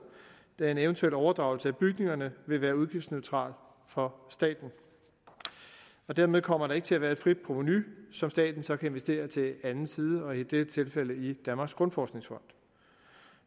da en eventuel overdragelse af bygningerne vil være udgiftsneutral for staten dermed kommer der ikke til at være et frit provenu som staten så kan investere til anden side og i dette tilfælde i danmarks grundforskningsfond